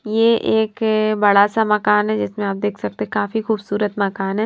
यह एक बड़ा सा मकान है जिसमें आप देख सकते हैं काफी खूबसूरत मकान है।